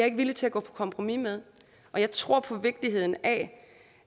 ikke villig til at gå på kompromis med jeg tror på vigtigheden af